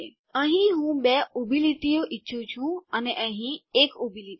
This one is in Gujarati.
અહીં હું બે ઊભી લીટીઓ ઈચ્છું છું અને અહીં ૧ ઊભી લીટી